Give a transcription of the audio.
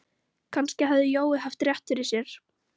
Kannski hafði Jói haft rétt fyrir sér.